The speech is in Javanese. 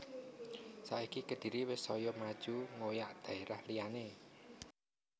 Saiki Kediri wis soyo maju ngoyak daerah liyane